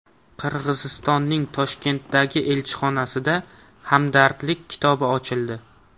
Qirg‘izistonning Toshkentdagi elchixonasida Hamdardlik kitobi ochildi.